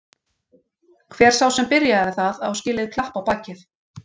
Hver sá sem byrjaði það á skilið klapp á bakið.